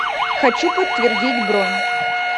хочу подтвердить бронь